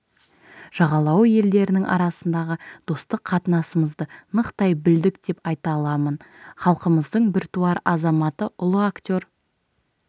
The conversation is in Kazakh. жағалауы елдерінің арасындағы достық қатынасымызды нықтай білдік деп айта аламын халқымыздың біртуар азаматы ұлы актер